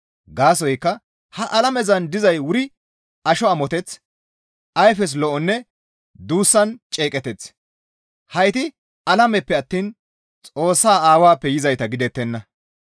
Gaasoykka ha alamezan dizay wuri asho amoteth, ayfes lo7onne duussan ceeqeteth; hayti alameppe attiin Xoossaa aawappe yizayta gidettenna.